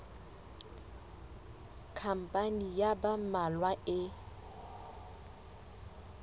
khampani ya ba mmalwa e